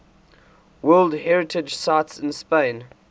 world heritage sites in spain